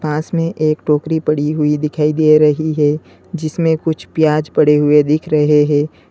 पास में एक टोकरी पड़ी हुई दिखाई दे रही है जिसमें कुछ प्याज पड़े हुए दिख रहे हैं।